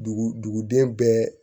Dugu duguden bɛɛ